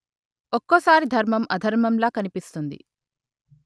ఒక్కోసారి ధర్మం అధర్మంలా కనిపిస్తుంది